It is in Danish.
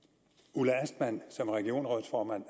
ulla astman som er regionsrådsformand